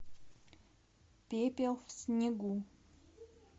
пепел в снегу